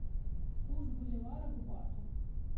курс боливара к бату